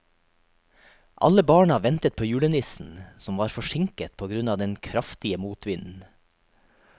Alle barna ventet på julenissen, som var forsinket på grunn av den kraftige motvinden.